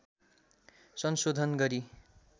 संशोधन गरी